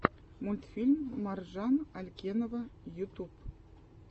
мультфильм маржан алькенова ютуб